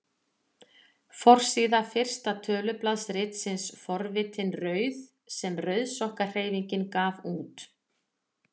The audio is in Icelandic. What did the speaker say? Forsíða fyrsta tölublaðs ritsins Forvitin rauð sem Rauðsokkahreyfingin gaf út.